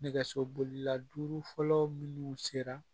Nɛgɛso bolila duuru fɔlɔ minnu sera